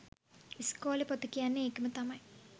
ඉස්කෝල පොත කියන්නෙත් ඒකම තමයි